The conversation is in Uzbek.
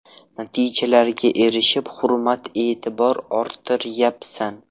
Natijalarga erishib, hurmat-e’tibor orttiryapsan.